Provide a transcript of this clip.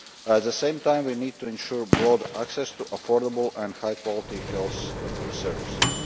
At the same time, we need to ensure broad access to affordable and high quality health services.